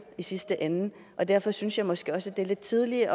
i sidste ende derfor synes jeg måske også det er lidt tidligt